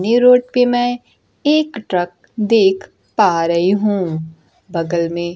ये रोड पे मैं एक ट्रक देख पा रही हूं बगल में--